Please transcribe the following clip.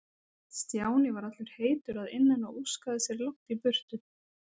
Stjáni var allur heitur að innan og óskaði sér langt í burtu.